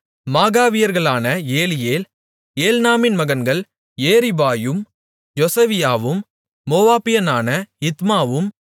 மாகாவியர்களான Eliel ஏல்நாமின் மகன்கள் ஏரிபாயும் யொசவியாவும் மோவாபியனான இத்மாவும்